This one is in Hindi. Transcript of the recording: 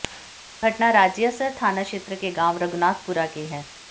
घटना राजियासर थाना क्षेत्र के गांव रघुनाथपुरा की है